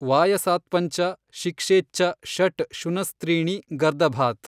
ವಾಯಸಾತ್ಪಂಚ ಶಿಕ್ಷೇಚ್ಚ ಷಟ್ ಶುನಸ್ತ್ರೀಣಿ ಗರ್ದಭಾತ್।